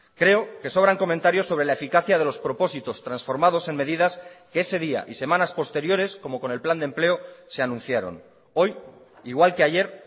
creo que sobran comentarios sobre la eficacia de los propósitos transformados en medidas que ese día y semanas posteriores como con el plan de empleo se anunciaron hoy igual que ayer